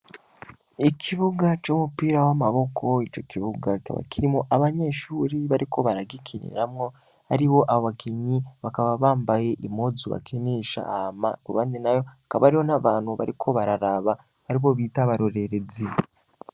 Ikibuga c'umupira w'amaboko. Ico kibuga kikaba abanyeshure bariko baragikiniramwo. Aribo abakinyi bakaba bambaye impuzu bakinisha hama ku ruhande naho hakaba hariho abantu bariko bararaba, aribo bita abarorerezi.